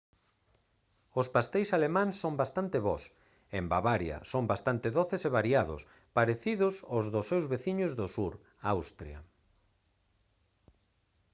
os pasteis alemáns son bastante bos e en bavaria son bastante doces e variados parecidos aos dos seus veciños do sur austria